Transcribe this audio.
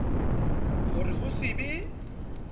ho re ho se be